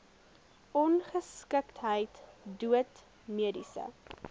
ongeskiktheid dood mediese